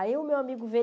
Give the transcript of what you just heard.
Aí o meu amigo veio.